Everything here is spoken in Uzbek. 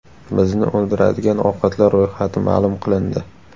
Bizni o‘ldiradigan ovqatlar ro‘yxati ma’lum qilindi.